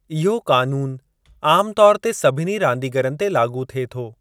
इहो क़ानून आम तौरु ते सभिनी रांदीगरनि ते लाॻू थिए थो।